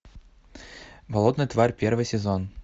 болотная тварь первый сезон